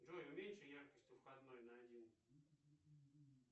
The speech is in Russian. джой уменьши яркость у входной на один